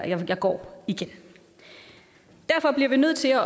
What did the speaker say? jeg går igen derfor bliver vi nødt til